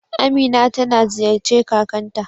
Amina ta na ziyace kakan ta.